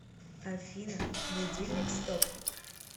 афина будильник стоп